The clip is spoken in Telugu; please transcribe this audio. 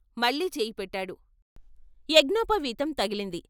మళ్ళీ చెయ్యి పెట్టాడు, యజ్ఞోపవీతం తగిలింది.